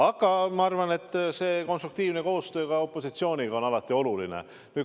Aga ma arvan, et konstruktiivne koostöö ka opositsiooniga on alati oluline.